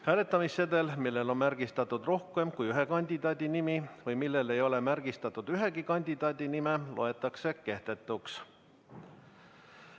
Hääletamissedel, millel on märgistatud rohkem kui ühe kandidaadi nimi või millel ei ole märgistatud ühegi kandidaadi nime, loetakse kehtetuks.